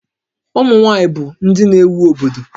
Ụmụ nwaanyị bụ ndị na-éwú obodo